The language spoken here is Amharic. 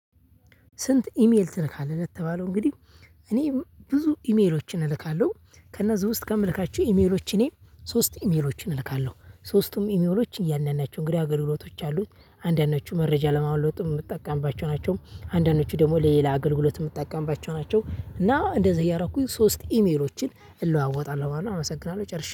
ስንት ኢሜል ትልካለህ? ለተባለው እንግዲህ። እኔ ብዙ ኢሜሎችን እልካለሁ ከእነዚህ ውስጥ ከምልካቸው ኢሜሎች እኔ ሶስት ኢሜሎችን እልካለሁ ሶስቱም ኢሜሎች እያንዳንዳቸው እንግዲህ አገልግሎቶች አሉት። አንዳንዶቹ መረጃ ለመለዋወጥ የምትጠቀምባቸው ናቸው። አንዳንዶቹ ደግሞ ለሌላ አገልግሎት የምትጠቀምባቸው ናቸው። እና እንደዚህ እያረኩኝ ሶስት ኢሜሮችን እለዋወጣለሁ ማለት አመሰግናለሁ ጨርሼ